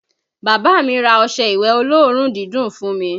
Bàbá mi ra ọṣẹ ìwẹ̀ olóòórùn dídùn fún mi